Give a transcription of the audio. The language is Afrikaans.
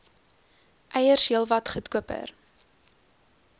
eiers heelwat goedkoper